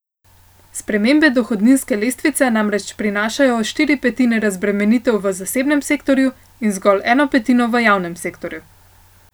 Spremembe dohodninske lestvice namreč prinašajo štiri petine razbremenitev v zasebnem sektorju in zgolj eno petino v javnem sektorju.